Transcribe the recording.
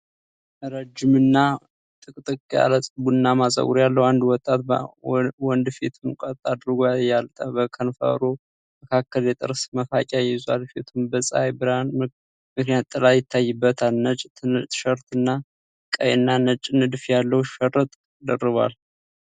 ረጅም እና ጥቅጥቅ ያለ ቡናማ ፀጉር ያለው አንድ ወጣት ወንድ ፊቱን ቀጥ አድርጎ ያያል። በከንፈሩ መካከል የጥርስ መፋቂያ ይዟል፤ ፊቱም በፀሐይ ብርሃን ምክንያት ጥላ ይታይበታል። ነጭ ትሸርት እና ቀይና ነጭ ንድፍ ያለው ሽርጥ ደርቧል።